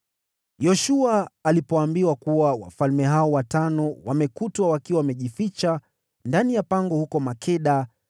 Yoshua alipoambiwa kuwa wafalme hao watano wamekutwa wakiwa wamejificha ndani ya pango huko Makeda,